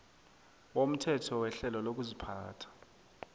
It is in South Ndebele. womthetho werhelo lokuziphatha